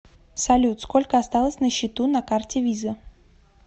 салют сколько осталось на счету на карте виза